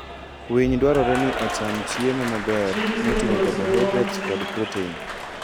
Winy dwarore ni ocham chiemo maber moting'o carbohydrates kod protein.